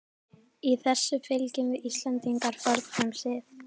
Í þessu fylgjum við Íslendingar fornum sið.